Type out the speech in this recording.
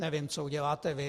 Nevím, co uděláte vy.